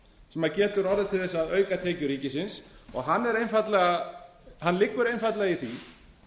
sem getur orðið til þess að auka tekjur ríkisins og hann er einfaldlega hann liggur einfaldlega í því